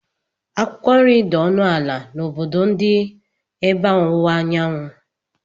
Akwụkwọ nri dị ọnụ ala n'obodo ndị ebe ọwụwa anyanwụ.